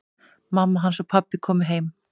Mamma hans og pabbi komu heim.